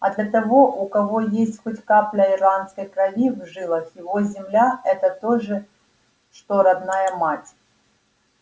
а для того у кого есть хоть капля ирландской крови в жилах его земля это то же что родная мать